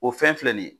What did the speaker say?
O fɛn filɛ nin ye